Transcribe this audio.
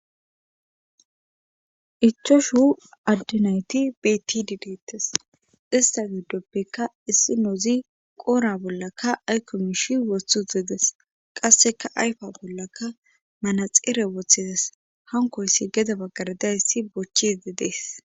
Ichoshu addinayti betididettes ista gidoppekka issi nouzi qoora bollaka aykomishi wothhu zedes qasseka ayfa bollaka manaxeere wothides hankoyssi geda baggardayssi bochchi dedees.